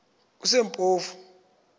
kusempofu